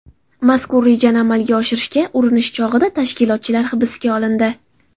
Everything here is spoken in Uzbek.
Mazkur rejani amalga oshirishga urinish chog‘ida tashkilotchilar hibsga olindi.